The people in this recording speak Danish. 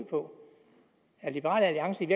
på er liberal alliance i